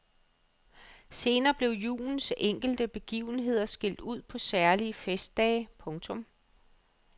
Senere blev julens enkelte begivenheder skilt ud på særlige festdage. punktum